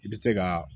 I bɛ se ka